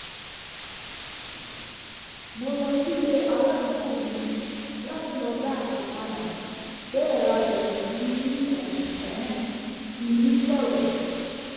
mo lọ sílé aládùúgbò mi láti lọ dá nǹkan padà bẹ́ẹ̀ la bẹ̀rẹ̀ sí ní sọ̀rọ̀